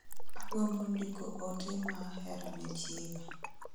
Agombo ndiko ote ma hera ne chiega